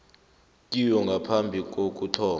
kiwo ngaphambi kokuthoma